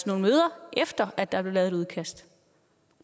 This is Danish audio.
nogle møder efter at der blev lavet et udkast